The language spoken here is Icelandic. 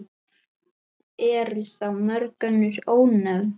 Eru þá mörg önnur ónefnd.